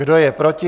Kdo je proti?